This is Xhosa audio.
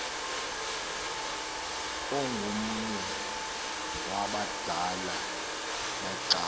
ongomnye wabadala becawe